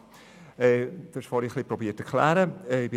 Sie haben es vorhin zu erklären versucht;